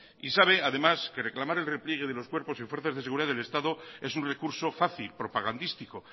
y sabe además que reclamar el repliegue de los cuerpos y fuerzas de seguridad del estado es un recurso fácil propagandístico